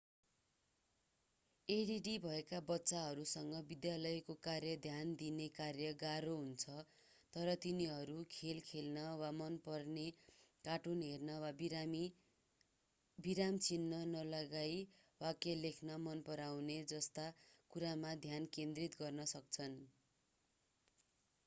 add भएका बच्चाहरूसँग विद्यालयको कार्य ध्यान दिने कार्य गाह्रो हुन्छ तर तिनीहरू खेल खेल्न वा मन पर्ने कार्टुन हेर्ने वा विराम चिह्न नलगाइ वाक्य लेख्न मनपराउने जस्ता कुरामा ध्यान केन्द्रित गर्न सक्छन्